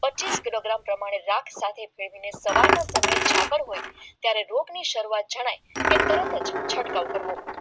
પચીસ ગ્રામ પ્રમાણે સવારનું સમય જાગ્ર હોય ત્યાં રોગ ની શરૂઆત ગણાય કે તરત છંટકાવ કરવો